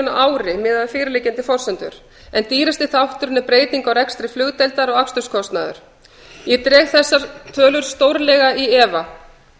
miðað við fyrirliggjandi forsendur en dýrustu þátturinn er breyting á rekstri flugdeildar og aksturskostnaður ég dreg þessar tölur í stórlega í efa